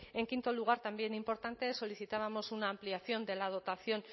en quinto lugar también importante solicitábamos una ampliación de la dotación